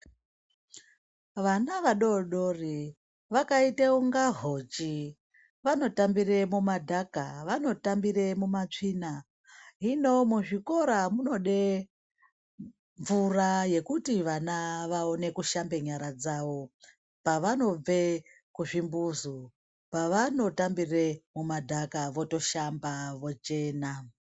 Vana vadoodori vakaita kunga hochi vanotambire mumadhaka vanotambire mumatsvina hino muzvikora munode mvura yekuti vana vawone kushamba nyara dzavo pavanobve kuzvi mbuzi pavanotambire mumadhaka votoshamba votochena.